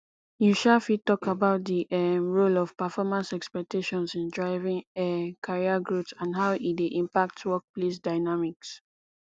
you um fit talk about di um role of performance expectations in driving um career growth and how e dey impact workplace dynamics